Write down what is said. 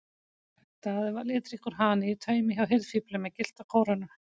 Daði var litríkur hani í taumi hjá hirðfífli með gyllta kórónu.